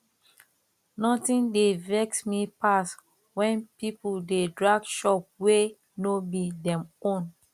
nothing dey vex me pass when people dey drag shop wey no be dem own